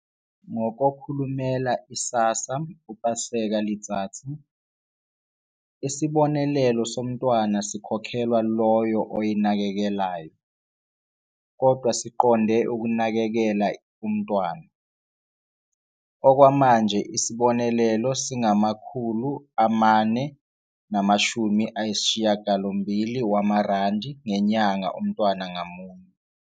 NgokoKhulumela u-SASSA u-Paseka Letsatsi, isibonelelo somntwana sikhokhelwa loyo oyinakekelayo, kodwa siqonde ukunakekela umntwana. Okwamanje isibonelelo singama-R480 ngenyanga umntwana ngamunye.